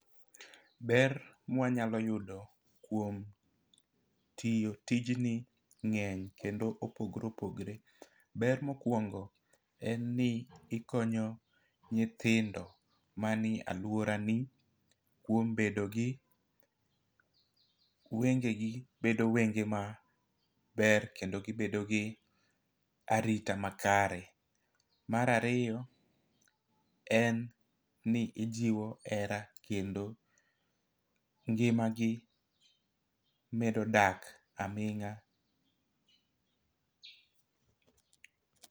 Ber mwanyalo yudo kuom tiyo tijni ng'eny kendo opogore opogre. Ber mokwongo en ni ikonyo nyithindo mani e aluora ni kuom bedo gi wengegi bedo wenge ma ber , kendo givedo gi arita makare. Mar ariyo en ni ijiwo hera kendo ngima gi medo dak aming'a